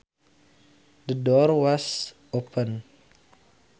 The door was open